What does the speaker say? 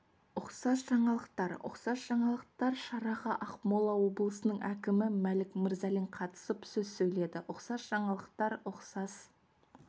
ұқсас жаңалықтар ұқсас жаңалықтар шараға ақмола облысының әкімі мәлік мырзалин қатысып сөз сөйледі ұқсас жаңалықтар ұқсас